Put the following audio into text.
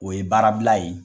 O ye baara bila ye.